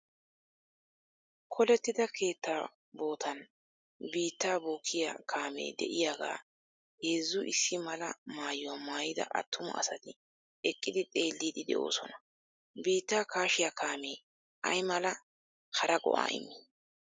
Kolettida keettaa bootan biittaa bokkiya kaamee diyaagaa heezzu issi mala maayuwa maayida attuma asati eqqidi xeelliiddi de'oosona. Biittaa kaashiyaa kaamee aymala hara go'aa immi?